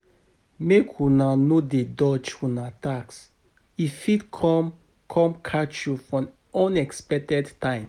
Make una no dey dodge una tax, e fit come, come catch you for unexpected time.